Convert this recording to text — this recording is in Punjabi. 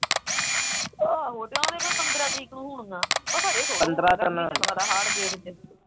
ਆਹੋ ਕੋਈ ਕਹਿੰਦਾ ਪੰਦਰਾ ਤਰੀਕ ਨੂੰ ਹੋਣੀਆਂ ਮੈਂ ਕਿਹਾ ਇਹ ਥੋੜਾ ਹੋਣਾ ਹਾੜ ਜੇਠ ਚ